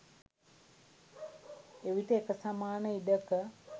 එවිට එක සමාන ඉඩක